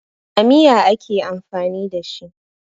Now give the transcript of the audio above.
A miya ake amfani da shi.